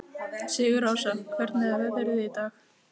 Sigurásta, hvernig er veðrið í dag?